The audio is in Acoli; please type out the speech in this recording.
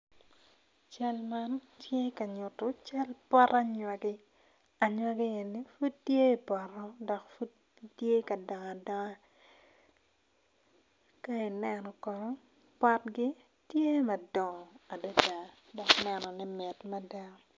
Cal man tye ka nyuto cal pot anywagi, anywagi eni pud tye ipoto dok gitye ka dongo adonga ka ineno kono potgi tye madongo adada dok nenone mit mada